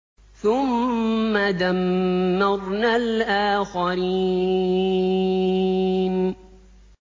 ثُمَّ دَمَّرْنَا الْآخَرِينَ